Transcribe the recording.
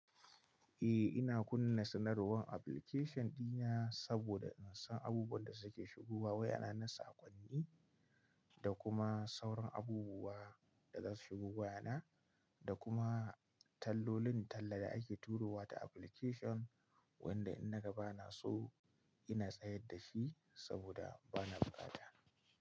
Eh ina kunna sanarwar application dina saboda in san abubuwan da suke shigowa waya na saƙonni da kuma sauran abubuwa da za su shigo waya na da kuma tallolin talla da ake turowa ta application wanda in na ga ba na so ina tsayar da shi saboda ba na buƙata.